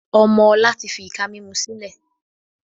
Ọmọ ọ̀la tí fi ìka mímú sílẹ̀